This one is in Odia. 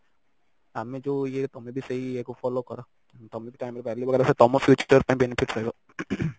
ଆମେ ଯୋଉ ଇଏ ତମେ ବି ସେଇ ଇଏ କୁ follow କର ତମେ ବି time ର value ବଗେରା କର ତମ future ଟା ଯେମିତି ଠିକ ହେଇପାରିବ